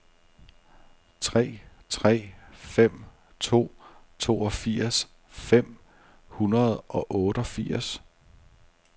tre tre fem to toogfirs fem hundrede og otteogfirs